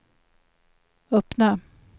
öppna